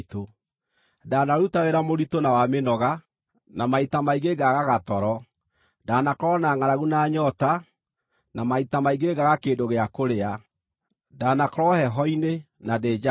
Ndaanaruta wĩra mũritũ na wa mĩnoga, na maita maingĩ ngaagaga toro; ndaanakorwo na ngʼaragu na nyoota, na maita maingĩ ngaaga kĩndũ gĩa kũrĩa; ndaanakorwo heho-inĩ na ndĩ njaga.